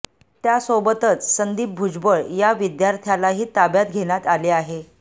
त्यासोबतच संदीप भुजबळ या विद्यार्थ्यालाही ताब्यात घेण्यात आले आहे